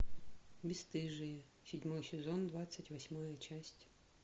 бесстыжие седьмой сезон двадцать восьмая часть